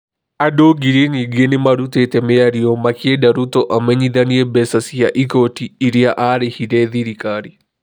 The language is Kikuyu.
Andũ ngiri nyingĩ nĩ marutĩte mĩario makĩenda Ruto amenyithanie mbeca cia igooti irĩa arĩhire thirikari